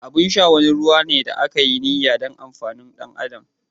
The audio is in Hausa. Abin sha wani ruwa ne da aka yi niyya don amfanin ɗan adam.